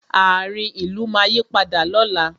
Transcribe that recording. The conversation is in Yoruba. Ààrin ìlú máa yí padà lóla